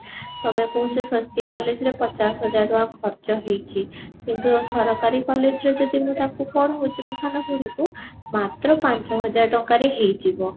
ତମେ କହୁଛ ସ୍ଵସ୍ତିକ collage ରେ ପଚାଶ ହଜାର ଟଙ୍କା ଖର୍ଚ୍ଚ ହେଇଛି କିନ୍ତୁ ସରକରୀ collage ରେ ମୁଁ ତାକୁ ପଢୋଉଛି ମୋ ସାନ ଭଉଣୀ କୁ ମାତ୍ର ପାଞ୍ଚ ହଜାର ଟଙ୍କାରେ ହେଇଯିବ